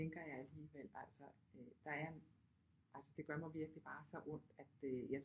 Tænker jeg alligevel altså der er altså det gør mig virkelig bare så ondt at øh